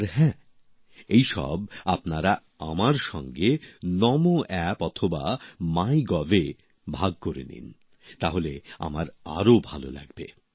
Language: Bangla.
আর হ্যাঁ এই সব আপনারা আমার সঙ্গে নামোঅ্যাপ অথবা মাই গভএ ভাগ করে নিন তাহলে আমার আরো ভালো লাগবে